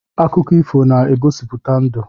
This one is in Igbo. Akụkọ ifo na-egosipụta ndụ.